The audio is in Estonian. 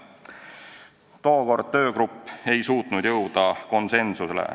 Tookord töögrupp ei suutnud jõuda konsensusele.